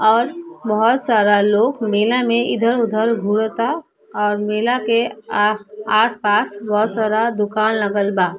और बहुत सारा लोग मेला में इधर उधर घूर ता और मेला के आ आस-पास बहुत सारा दुकान लगल बा।